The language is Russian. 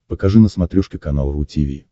покажи на смотрешке канал ру ти ви